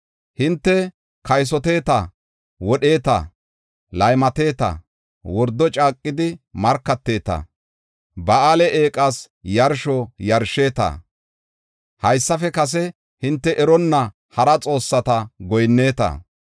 “Hinte kaysoteeta, wodheeta, laymateta, wordo caaqidi markateeta, Ba7aale eeqas yarsho yarsheeta, haysafe kase hinte eronna hara xoossata goyinneta.